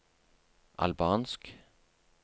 albansk